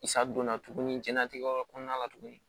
I sa donna tuguni diɲɛlatigɛ yɔrɔ kɔnɔna la tuguni